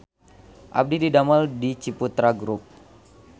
Abdi didamel di Ciputra Grup